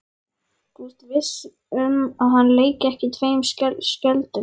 Þú ert viss um að hann leiki ekki tveim skjöldum?